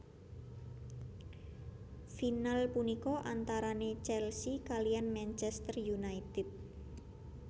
Final punika antarane Chelsea kaliyan Manchester United